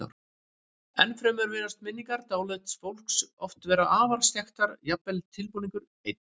Ennfremur virðast minningar dáleidds fólks oft vera afar skekktar, jafnvel tilbúningur einn.